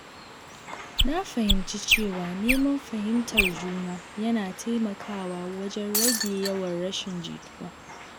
Na fahimci cewa neman fahimtar juna yana taimakawa wajen rage yawan rashin jituwa.